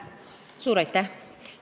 Suur aitäh!